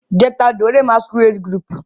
je t'adore masquerade group